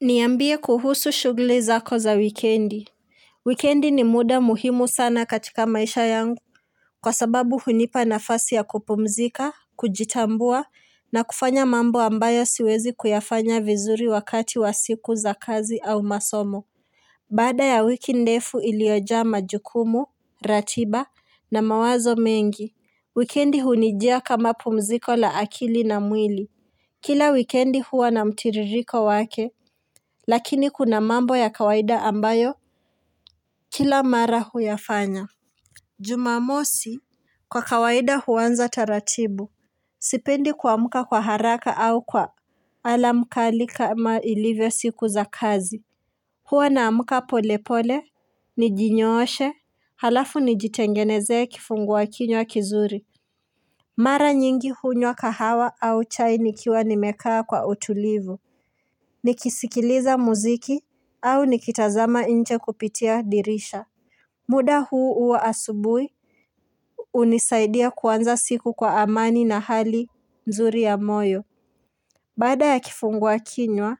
Niambie kuhusu shughuli zako za wikendi. Wikendi ni muda muhimu sana katika maisha yangu. Kwa sababu hunipa nafasi ya kupumzika, kujitambua, na kufanya mambo ambayo siwezi kuyafanya vizuri wakati wa siku za kazi au masomo. Baada ya wiki ndefu iliyojaa majukumu, ratiba na mawazo mengi. Wikendi hunijia kama pumziko la akili na mwili. Kila wikendi huwa na mtiririko wake. Lakini kuna mambo ya kawaida ambayo Kila mara huyafanya Jumamosi Kwa kawaida huanza taratibu Sipendi kuamka kwa haraka au kwa Alarm kali kama ilivyo siku za kazi Hua naamka pole pole Nijinyooshe Halafu nijitengenezee kifungua kinywa kizuri Mara nyingi hunywa kahawa au chai nikiwa nimekaa kwa utulivu nikisikiliza muziki au nikitazama nje kupitia dirisha muda huu huwa asubuhi hunisaidia kuanza siku kwa amani na hali nzuri ya moyo Baada ya kifunguakinywa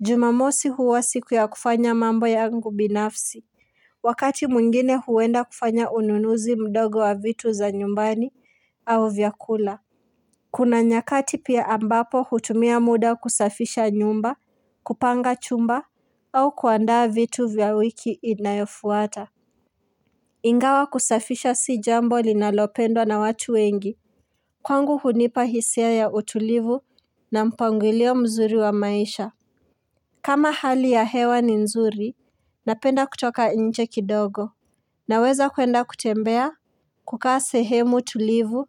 Jumamosi huwa siku ya kufanya mambo yangu binafsi Wakati mwingine huenda kufanya ununuzi mdogo wa vitu za nyumbani au vyakula Kuna nyakati pia ambapo hutumia muda kusafisha nyumba kupanga chumba au kuandaa vitu vya wiki inayofuata. Ingawa kusafisha si jambo linalopendwa na watu wengi. Kwangu hunipa hisia ya utulivu na mpangilio mzuri wa maisha. Kama hali ya hewa ni nzuri, napenda kutoka nje kidogo. Naweza kuenda kutembea, kukaa sehemu tulivu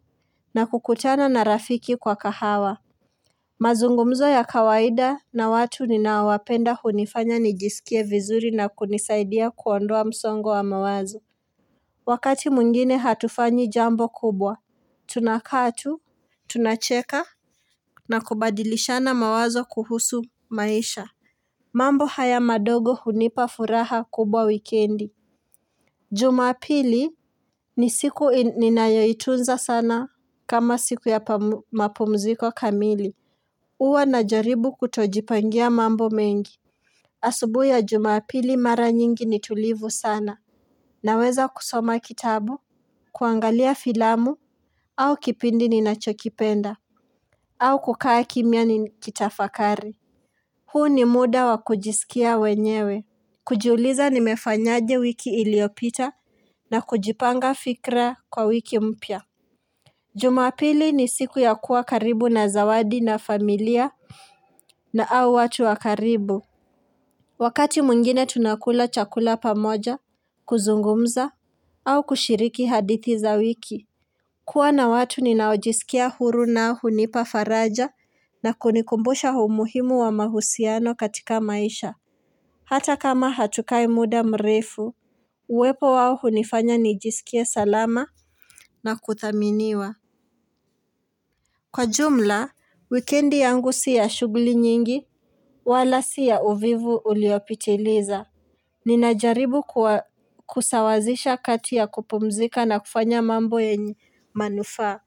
na kukutana na rafiki kwa kahawa. Mazungumzo ya kawaida na watu ninaowapenda hunifanya nijisikie vizuri na kunisaidia kuondoa msongo wa mawazo. Wakati mwingine hatufanyi jambo kubwa, tunakaa tu, tunacheka na kubadilishana mawazo kuhusu maisha. Mambo haya madogo hunipa furaha kubwa wikendi. Jumapili ni siku ninayoitunza sana kama siku ya mapumziko kamili. Huwa najaribu kutojipangia mambo mengi Asubuhi ya jumapili mara nyingi ni tulivu sana Naweza kusoma kitabu kuangalia filamu au kipindi ninachokipenda au kukaa kimya nikitafakari huu ni muda wa kujisikia wenyewe kujiuliza nimefanyaje wiki iliopita na kujipanga fikra kwa wiki mpya Jumapili ni siku ya kuwa karibu na zawadi na familia na au watu wa karibu Wakati mwingine tunakula chakula pamoja kuzungumza au kushiriki hadithi za wiki kuwa na watu ninaojisikia huru nao hunipa faraja na kunikumbusha umuhimu wa mahusiano katika maisha Hata kama hatukai muda mrefu Uwepo wao hunifanya nijisikie salama na kuthaminiwa Kwa jumla, wikendi yangu si ya shughuli nyingi wala si ya uvivu uliopitiliza Ninajaribu kusawazisha kati ya kupumzika na kufanya mambo yenye manufaa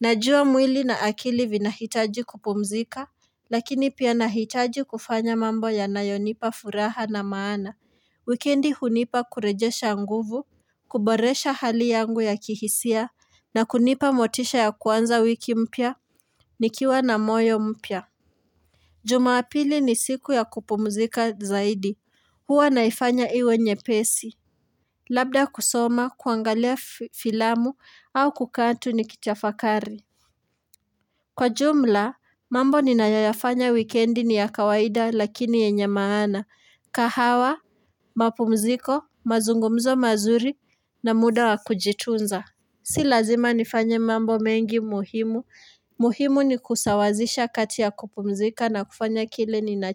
Najua mwili na akili vinahitaji kupumzika Lakini pia nahitaji kufanya mambo yanayonipa furaha na maana Wikendi hunipa kurejesha nguvu kuboresha hali yangu ya kihisia na kunipa motisha ya kuanza wiki mpya Nikiwa na moyo mpya Jumapili ni siku ya kupumzika zaidi. Huwa naifanya iwe nyepesi. Labda kusoma, kuangalia filamu au kukaa tu nikitafakari. Kwa jumla, mambo ninayoyafanya wikendi ni ya kawaida lakini yenye maana. Kahawa, mapumziko, mazungumzo mazuri na muda wa kujitunza. Si lazima nifanya mambo mengi muhimu, muhimu ni kusawazisha kati ya kupumzika na kufanya kile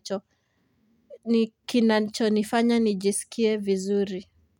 kinachonifanya nijisikie vizuri.